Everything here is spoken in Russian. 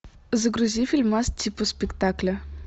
загрузи фильмас типа спектакля